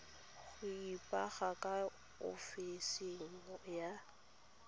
go ipega ka ofising ya